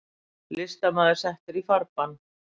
Listamaður settur í farbann